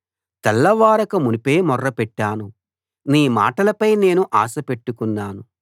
తెల్లవారకమునుపే మొర్రపెట్టాను నీ మాటలపై నేను ఆశపెట్టుకున్నాను